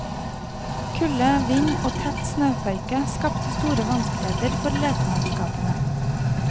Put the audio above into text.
Kulde, vind og tett snøføyke skapte store vanskeligheter for letemannskapene.